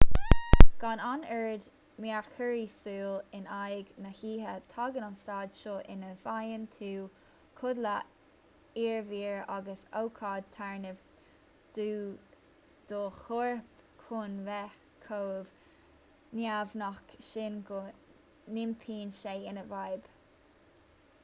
gan an oiread mearchorraí súl in aghaidh na hoíche tagann an staid seo ina bhfaigheann tú codladh iarbhír agus ócáid téarnamh do do chorp chun bheith chomh neamhghnách sin go n-iompaíonn sé ina fhadhb